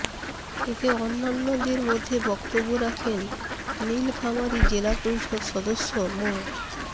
এতে অন্যান্যদর মধ্যে বক্তব্য রাখেন নীলফামারী জেলা পরিষদ সদস্য মো